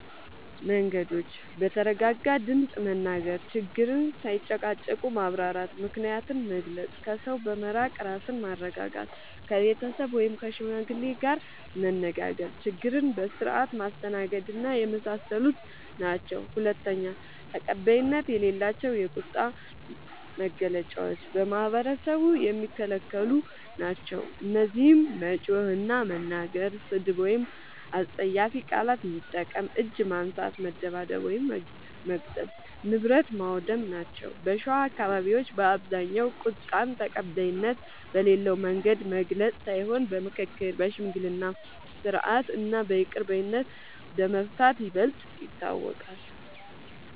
መንገዶች፦ በተረጋጋ ድምፅ መናገር፣ ችግርን ሳይጨቃጨቁ ማብራራት፣ ምክንያትን መግለጽ፣ ከሰው በመራቅ ራስን ማረጋጋት፣ ከቤተሰብ ወይም ከሽማግሌ ጋር መነጋገር፣ ችግርን በስርዓት ማስተናገድና የመሳሰሉት ናቸዉ። ፪. ተቀባይነት የሌላቸው የቁጣ መግለጫዎች በማህበረሰቡ የሚከለክሉ ናቸዉ። እነዚህም መጮህ እና መናገር፣ ስድብ ወይም አስጸያፊ ቃላት መጠቀም፣ እጅ ማንሳት (መደብደብ/መግጠም) ፣ ንብረት ማዉደም ናቸዉ። በሸዋ አካባቢዎች በአብዛኛዉ ቁጣን ተቀባይነት በሌለዉ መንገድ መግለጽ ሳይሆን በምክክር፣ በሽምግልና ስርዓት እና በይቅር ባይነት በመፍታት ይበልጥ ይታወቃል።